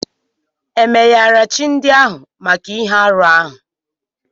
E meyara chi ndị ahụ maka ihe arụ ahụ?